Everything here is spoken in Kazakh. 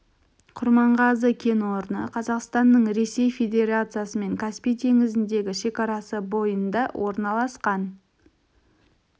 құрманғазы кен орны қазақстанның ресей федерациясымен каспий теңізіндегі шекарасы бойында орналасқан